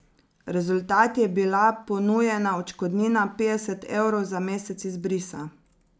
Rezultat je bila ponujena odškodnina petdeset evrov za mesec izbrisa.